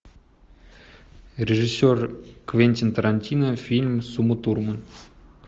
режиссер квентин тарантино фильм с умой турман